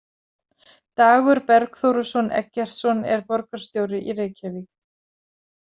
Dagur Bergþóruson Eggertsson er borgarstjóri í Reykjavík.